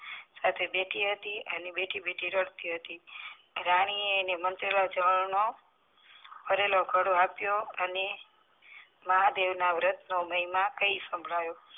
સાથે બેઠી હતી અને બેઠી બેઠી રડતી હતી રાની એ એને મંત્રેલા જળ નો ભરેલો ધડો અપિયો અને મહાદેવ ના વ્રત નો મહિમા કહી શાભળવીયો